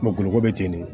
Magoloko bɛ ten de